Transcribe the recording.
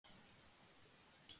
og hlusta svo með athygli á svarið.